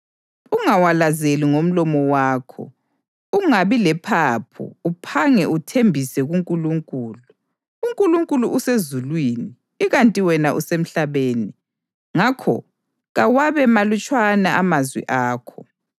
Ungawalazeli ngomlomo wakho, ungabi lephaphu uphange uthembise kuNkulunkulu. UNkulunkulu usezulwini ikanti wena usemhlabeni, ngakho kawabe malutshwana amazwi akho.